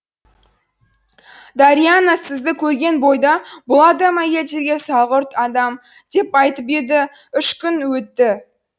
дорианна сізді көрген бойда бұл адам әйелдерге салғырт адам деп айтып еді үш күн өтті